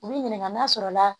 U b'i ɲininka n'a sɔrɔ la